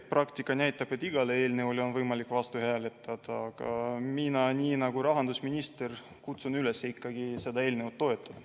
Praktika näitab, et igale eelnõule on võimalik vastu hääletada, aga mina, nii nagu tegi rahandusminister, kutsun üles ikkagi seda eelnõu toetama.